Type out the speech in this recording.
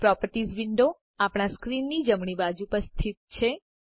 properties window આપણા સ્ક્રીનની જમણી બાજુ પર સ્થિત છે